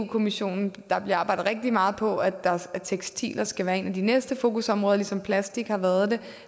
kommissionen bliver arbejdet rigtig meget på at tekstiler skal være et af de næste fokusområder ligesom plastik har været det